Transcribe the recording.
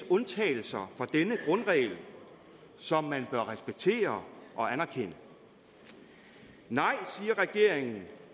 undtagelser som man bør respektere og anerkende nej siger regeringen